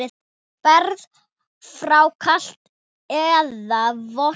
Berið fram kalt eða volgt.